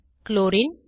chlorine